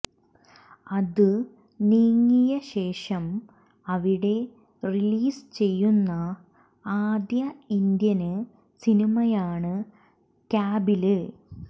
അത് നീങ്ങിയശേഷം അവിടെ റിലീസ് ചെയ്യുന്ന ആദ്യ ഇന്ത്യന് സിനിമയാണ് കാബില്